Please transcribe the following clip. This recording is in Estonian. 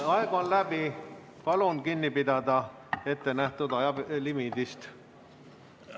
Aeg on läbi, palun kinni pidada ettenähtud ajalimiidist!